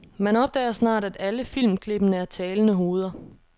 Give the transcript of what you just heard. Man opdager snart, at alle filmklippene er talende hoveder.